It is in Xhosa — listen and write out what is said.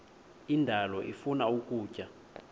indalo ifuna ukutya